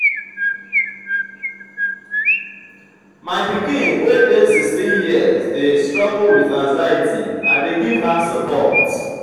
my pikin wey dey sixteen years dey struggle with anxiety i dey give her support.